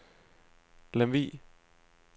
Lemvug